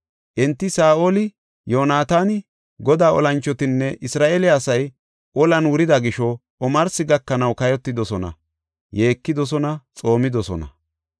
Enti Saa7oli, Yoonataani, Godaa olanchotinne Isra7eele asay olan wurida gisho omarsi gakanaw kayotidosona; yeekidosona; xoomidosona.